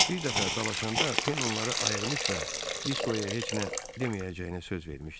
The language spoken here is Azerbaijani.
Bir dəfə dalaşanda Pen onları ayırmış və Diskoya heç nə deməyəcəyinə söz vermişdi.